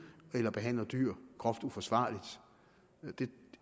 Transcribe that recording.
eller behandler dyr groft uforsvarligt det